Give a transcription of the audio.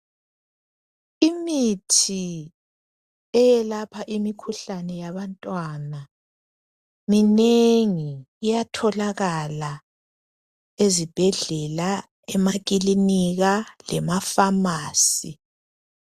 Imithi eyelapha imikhuhlane yabantwana minengi iyatholakala ezibhedlela, emaklinika, lema pharmacy.